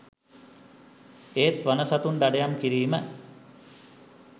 ඒත් වන සතුන් දඩයම් කිරීම